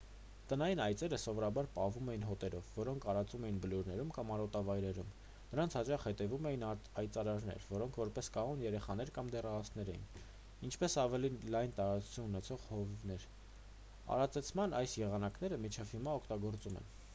տնային այծերը սովորաբար պահվում էին հոտերով որոնք արածում էին բլուրներում կամ արոտավայրերում նրանց հաճախ հետևում էին այծարածներ որոնք որպես կանոն երեխաներ կամ դեռահասներ էին ինչպես ավելի լայն տարածուն ունեցող հովիվներ արածեցման այս եղանակները մինչ հիմա օգտագործվում են